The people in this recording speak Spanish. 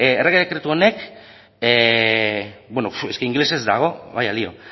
errege dekretu honek bueno es que inglesez dago vaya lio